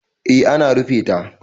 eh ana rufe ta